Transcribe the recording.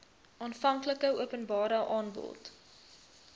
aanvanklike openbare aanbod